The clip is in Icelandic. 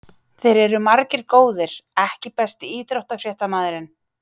Þeir eru margir góðir EKKI besti íþróttafréttamaðurinn?